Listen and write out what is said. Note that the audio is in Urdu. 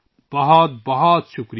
بہت بہت شکریہ